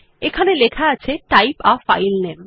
এখানে লেখা আছে টাইপ a ফাইল নামে